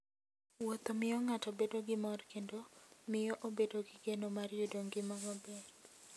Wuotho miyo ng'ato bedo gi mor kendo miyo obedo gi geno mar yudo ngima maber.